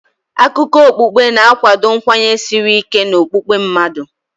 Akụkọ okpukpe na-akwado nkwenye siri ike n'okpukpe mmadụ.